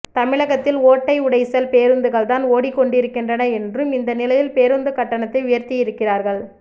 தமிழகத்தில் ஓட்டை உடைசல் பேருந்துகள்தான் ஓடிக் கொண்டிருக்கின்றன என்றும் இந்த நிலையில் பேருந்து கட்டணத்தை உயர்த்தியிருக்கிறார்கள்